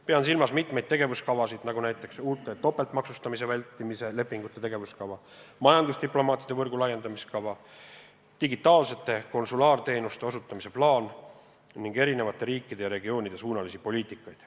Pean silmas mitmeid tegevuskavasid, näiteks uute topeltmaksustamise vältimise lepingute tegevuskava, majandusdiplomaatide võrgu laiendamise kava, digitaalsete konsulaarteenuste osutamise plaan ning eri riikide ja regioonide suunalised poliitikad.